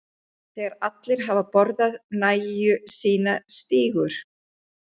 Þegar allir hafa borðað nægju sína stígur